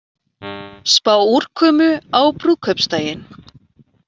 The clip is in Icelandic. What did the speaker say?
Spá úrkomu á brúðkaupsdaginn